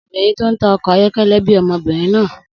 Obìnrin tó ń ta ọkọ̀ ayọ́kẹ́lẹ́ bí ọmọbìnrin náà